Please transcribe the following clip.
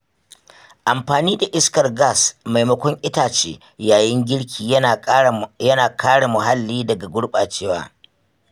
Amfani da iskar gas maimakon itace yayin girki yana kare muhalli daga gurɓacewa.